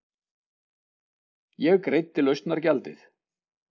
Ég greiddi lausnargjaldið.